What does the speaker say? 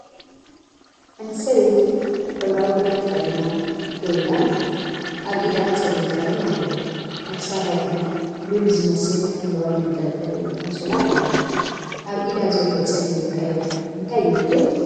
ሓንቲ ሰበይቲ ሕብራዊ ክዳን ተኸዲና ደው ኢላ ኣላ። ኣብ ኢዳ ጸሊም ቀለም ኣለዋ፡ ኣብ ክሳዳ ድማ ሉል ዝመስል ሐምላይ መንጠልጠሊ ኣንሶላ ኣለዋ። ኣብ ኢዳ ዘሎ ጸሊም ቀለም እንታይ ይውክል?